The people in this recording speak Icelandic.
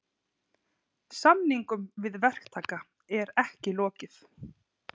Samningum við verktaka er ekki lokið